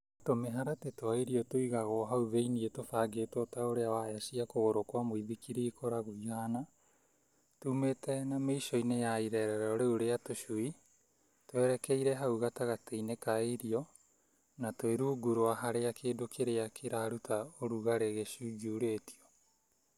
Tũmĩharatĩ twa irio tũigagwo hau thĩinĩ tũbangĩtwo ta ũrĩa waya cia kũgũrũ kwa mũithikiri ikoragwo ihana tumĩte na mĩico-inĩ ya irerero rĩu rĩa tũcui twerekeire hau gatagatĩ-inĩ ka rĩo na twĩ rungu rwa harĩa kĩndũ kĩrĩa kĩraruta ũrugarĩ gĩcunjurĩtio.